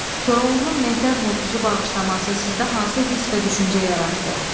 Koroğlunun Mehdər Murtuzu bağışlaması sizdə hansı hiss və düşüncə yaratdı?